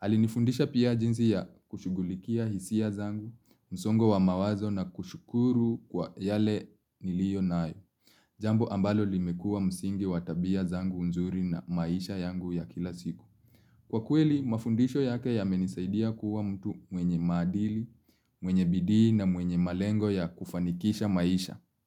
Alinifundisha pia jinsi ya kushughulikia hisia zangu, msongo wa mawazo na kushukuru kwa yale niliyonayo. Jambo ambalo limekua msingi watabia zangu nzuri na maisha yangu ya kila siku. Kwa kweli, mafundisho yake yamenisaidia kuwa mtu mwenye madili, mwenye bidii na mwenye malengo ya kufanikisha maisha.